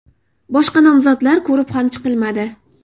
Boshqa nomzodlar ko‘rib ham chiqilmadi.